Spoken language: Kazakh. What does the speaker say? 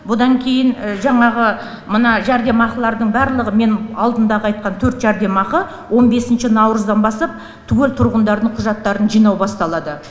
бұдан кейін жаңағы мына жәрдемақылардың барлығы мен алдындағы айтқан төрт жәрдемақы он бесінші наурыздан бастап түгел тұрғындардың құжаттарын жинау басталады